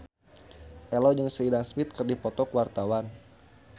Ello jeung Sheridan Smith keur dipoto ku wartawan